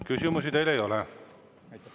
Küsimusi teile ei ole.